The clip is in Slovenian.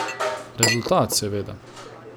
Rezultat, seveda!